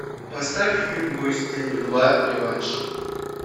поставь фильм бой с тенью два реванш